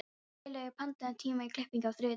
Geirlaugur, pantaðu tíma í klippingu á þriðjudaginn.